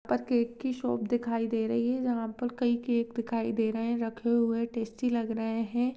पर केक की शॉप दिखाई दे रही है जहाँ पर कई केक दिखाई दे रहे है रखे हुए टेस्टी लग रहे है।